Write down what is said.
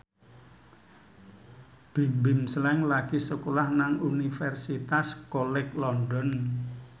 Bimbim Slank lagi sekolah nang Universitas College London